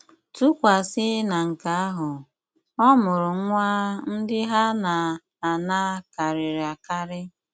Tụkwasị na nke ahụ, ọmụrụ nwa ndị ha na - ana karịrị akarị.